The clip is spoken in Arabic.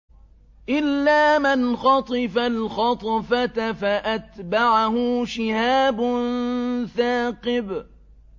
إِلَّا مَنْ خَطِفَ الْخَطْفَةَ فَأَتْبَعَهُ شِهَابٌ ثَاقِبٌ